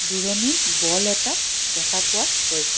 দুৰণীত ball এটা দেখা পোৱা গৈছে.